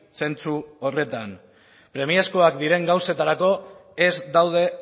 zentzu horretan premiazkoak diren gauzetarako ez daude